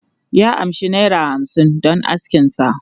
Ya amshi naira hamsin don askin sa.